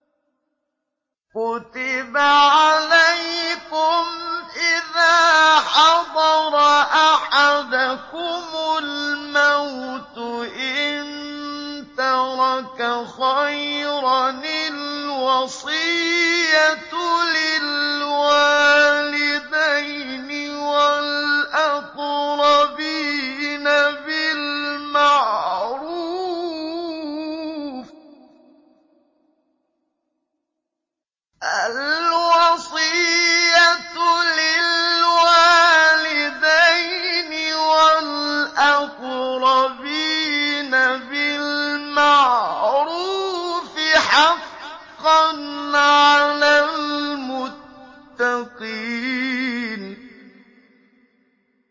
كُتِبَ عَلَيْكُمْ إِذَا حَضَرَ أَحَدَكُمُ الْمَوْتُ إِن تَرَكَ خَيْرًا الْوَصِيَّةُ لِلْوَالِدَيْنِ وَالْأَقْرَبِينَ بِالْمَعْرُوفِ ۖ حَقًّا عَلَى الْمُتَّقِينَ